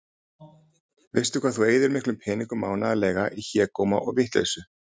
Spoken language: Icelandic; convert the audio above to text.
Veistu hvað þú eyðir miklum peningum mánaðarlega í hégóma og vitleysu?